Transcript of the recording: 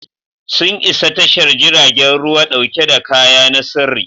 Sun isa tashar jiragen ruwa dauke da kaya na sirri.